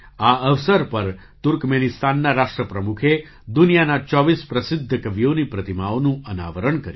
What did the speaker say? આ અવસર પર તુર્કમેનિસ્તાનના રાષ્ટ્રપ્રમુખે દુનિયાના ૨૪ પ્રસિદ્ધ કવિઓની પ્રતિમાઓનું અનાવરણ કર્યું